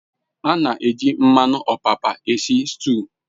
A n'eji mmanu opapa esi stu